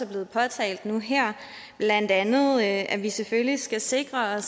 blevet påtalt nu her blandt andet at vi selvfølgelig skal sikre